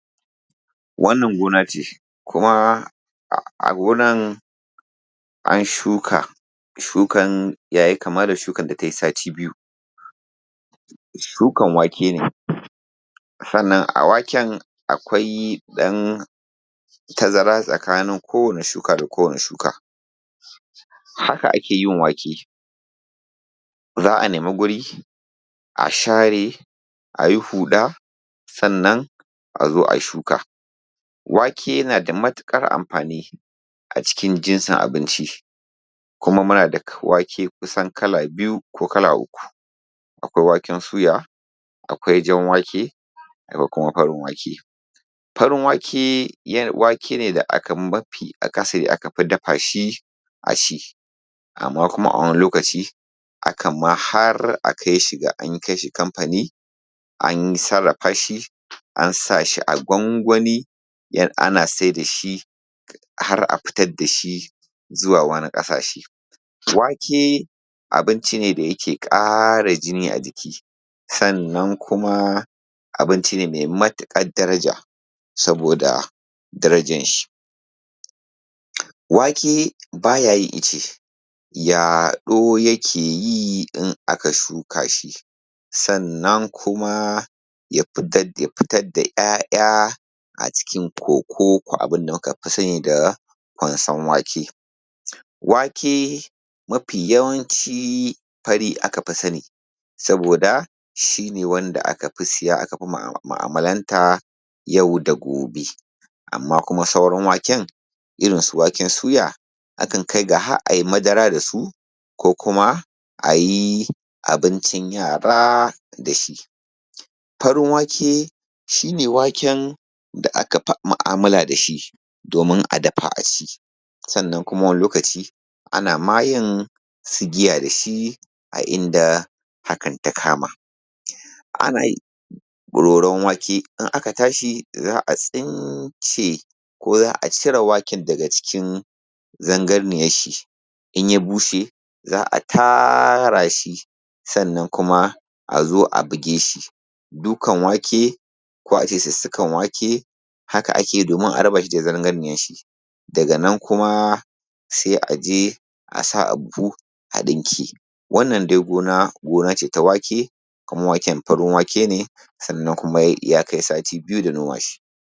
Wannan gona ce, kuma a gonan an shuka, shukan ya yi kama da shukan da tayi sati biyu. Shukan wake ne, sannan a waken a waken akwai ɗan tazara tsakanin kowane shuka da kowane shuka. Haka ake yin wake, za a nemi guri a share a yi huɗa, sannan a zo a yi shuka. Wake na da matuƙar amfani acikin jinsin abinci, kuma muna da kusan wake kala biyu ko kala uku, akwai waken suya, akwai jan wake, akwai kuma farin wake. Farin wake wake ne da mafi akasari aka fi dafa shi a ci, amma kuma a wani lokaci akan ma har a kai shi ga an kai shi kamfani an sarrafa shi, an sa shi an gwangwani ana saida shi har a fitar da shi zuwa wani ƙasashe. Wake abinci ne da yake ƙara jini a jiki, sannan kuma abinci ne mai matuƙar daraja saboda darajan shi. Wake baya yin ice yaɗo yake yi in aka shuka shi, sannan kuma ya fitad fitad da ‘ya’ya acikin ƙoƙo ko abin da muka fi sani da kwasan wake. Wake mafi yawanci fari aka fi sani, saboda shi ne wanda aka fi siya aka fi mu’amalanta yau da gobe, amma kuma sauran waken irinsu waken suya akan kai ga har a yi madara da su ko kuma a yi abincin yara da shi. Farin wake shi ne waken da aka fi mu’amala da shi domin a dafa a ci, sannan wani lokaci ana ma yin su giya da shi a inda hakan ta kama. Ana roron wake in aka tashi za a tsince ko za a cire waken daga cikin zangarniyanshi. In ya bushe za a tara shi sannan kuma a zo a buge shi, dukan wake ko a ce sussukar wake haka ake yi domin a raba shi da zangarniyanshi, daga nan kuma sai a je a sa a buhu a ɗinke. Wannan dai gona, gona ce ta wake kuma waken farin wake ne sannan kuma ya kai sati biyu da noma shi.